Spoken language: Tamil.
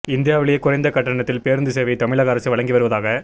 இந்தியாவிலேயே குறைந்த கட்டணத்தில் பேருந்து சேவையை தமிழக அரசு வழங்கி வருவதாக